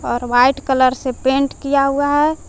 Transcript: और white colour से paint किया हुआ है।